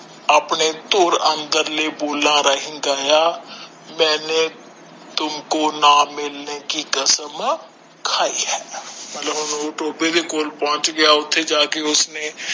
ਆਪਣੇ ਤੋਰ ਅੰਦਰਲੇ ਬੋਲਾ ਰਾਹੀਂ ਗਯਾ ਮੇਨੇ ਤੁਮਕੋ ਨਾ ਮਿਲਨੇ ਕਿ ਕਸਮ ਖਾਇ ਆ ਮਤਲਬ ਹਨ ਟੋਬੇ ਦੇ ਕੋਲ ਪੋਂਛ ਗਿਆ ਓਥੇ ਜਾ ਕੇ ਉਸਨੇ